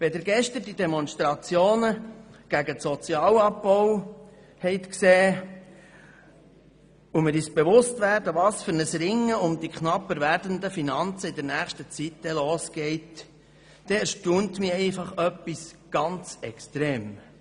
Wenn Sie gestern die Demonstration gegen den Sozialhilfeabbau gesehen haben und wir uns bewusst sind, wie in der nächsten Zeit um die knapper werdenden Finanzen gerungen wird, erstaunt mich Folgendes extrem: